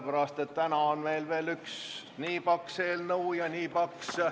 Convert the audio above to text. Ja täna on meil arutada ka mitu paksu eelnõu.